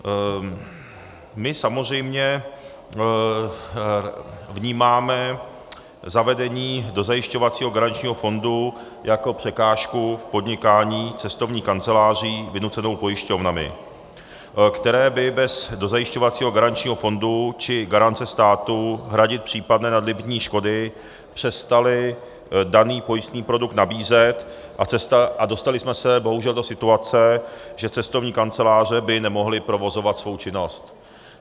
My samozřejmě vnímáme zavedení dozajišťovacího garančního fondu jako překážku v podnikání cestovních kanceláří vynucenou pojišťovnami, které by bez dozajišťovacího garančního fondu či garance státu hradit případné nadlimitní škody přestaly daný pojistný produkt nabízet, a dostali jsme se bohužel do situace, že cestovní kanceláře by nemohly provozovat svou činnost.